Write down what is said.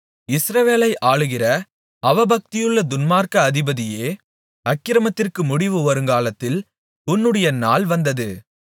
இஸ்ரவேலை ஆளுகிற அவபக்தியுள்ள துன்மார்க்க அதிபதியே அக்கிரமத்திற்கு முடிவு வருங்காலத்தில் உன்னுடைய நாள் வந்தது